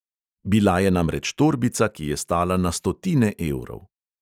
Bila je namreč torbica, ki je stala na stotine evrov.